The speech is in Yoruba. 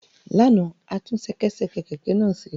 Lánàá, o tún ṣẹkẹ́ṣẹkẹ̀ kẹ̀kẹ́ náà ṣe